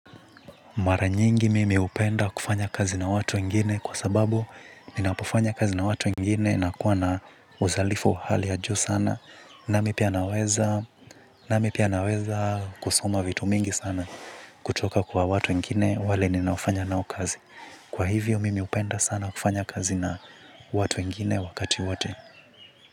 Mara nyingi mimi hupenda kufanya kazi na watu wengine kwa sababu ninapofanya kazi na watu wengine nakuwa na uzalifu wa hali ya juu sana nami pia naweza. Nami pia naweza kusukuma vitu mingi sana kutoka kwa watu wengine wale ninaofanya nao kazi. Kwa hivyo mimi hupenda sana kufanya kazi na watu wengine wakati wote.